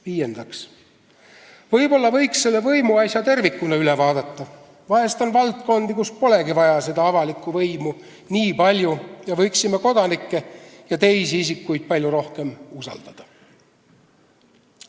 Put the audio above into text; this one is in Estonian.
Viiendaks, võib-olla võiks selle võimuasja tervikuna üle vaadata, vahest on valdkondi, kus polegi seda avalikku võimu nii palju vaja, ning me võiksime kodanikke ja teisi isikuid palju rohkem usaldada.